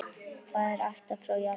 Það er ættað frá Japan.